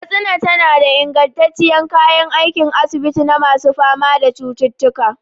Katsina tana da ingantattun kayan aikin asibiti na masu fama da cututtuka.